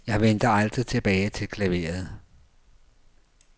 Jeg vendte aldrig tilbage til klaveret.